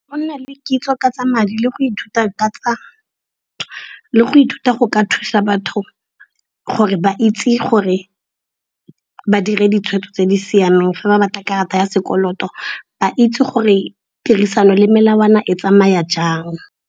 Go nna le kitso ka tsa madi le go ithuta go ka thusa batho gore ba itse gore ba dire ditshwetso tse di siameng fa ba batla karata ya sekoloto. Ba itse gore tirisano le melawana e tsamaya jang.